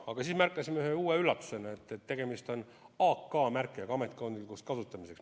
Aga me märkasime uue üllatusena, et dokumentidel on AK-märge – asutusesiseseks kasutamiseks.